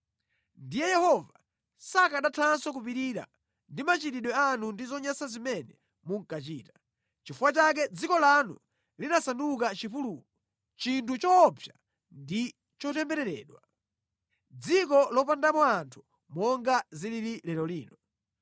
Ndiye Yehova sakanathanso kupirira ndi machitidwe anu ndi zonyansa zimene munkachita. Nʼchifukwa chake dziko lanu linasanduka chipululu, chinthu choopsa ndi chotembereredwa. Dziko lopandamo anthu monga zilili lero lino.